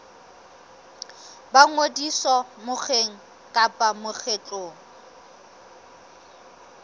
ba ngodiso mokgeng kapa lekgotleng